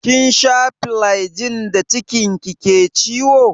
Kin sha flajil da cikin ki ke ciwo?